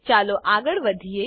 ચાલો આગળ વધીએ